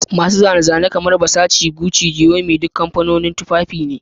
Masu zane-zane kamar Versace, Gucci, giorgioarmani duk kamfanonin tufafi ne